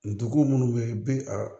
Dugu minnu bɛ yen i bɛ a